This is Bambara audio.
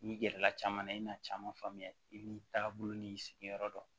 N'i gɛrɛla caman na i na caman faamuya i b'i taabolo n'i sigiyɔrɔ dɔn